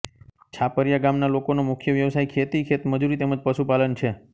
છાપરીયા ગામના લોકોનો મુખ્ય વ્યવસાય ખેતી ખેતમજૂરી તેમ જ પશુપાલન છે